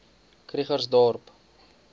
krugersdorp